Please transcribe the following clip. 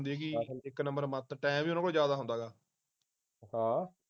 ਹਾ